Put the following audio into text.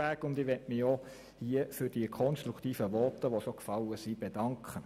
Ich möchte mich an dieser Stelle für die konstruktiven Voten, die bereits gefallen sind, bedanken.